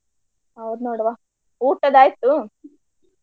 ಹೌದ ನೋಡವ್ವ ಊಟದು ಆಯ್ತು?